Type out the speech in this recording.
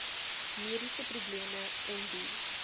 mediese probleme ondie